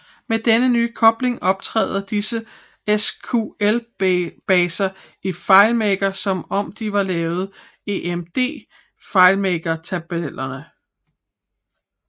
Med denne nye kobling optræder disse SQL baser i FileMaker som om de var lavet emd FileMaker tabeller